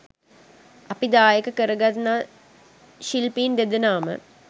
අපි දායක කරගන්නා ශිල්පීන් දෙදෙනාම